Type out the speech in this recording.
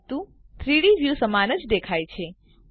પરંતુ 3ડી વ્યુ સમાન જ દેખાય છે